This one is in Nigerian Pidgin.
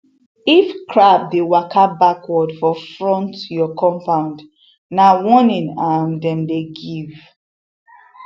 if crab dey waka backward for front your compound na warning um dem dey give